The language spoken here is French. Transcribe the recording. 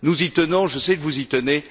Nous y tenons, je sais que vous y tenez.